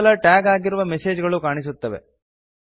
ಕೇವಲ ಟ್ಯಾಗ್ ಅಗಿರುವ ಮೆಸೇಜ್ ಗಳು ಕಾಣಿಸುತ್ತವೆ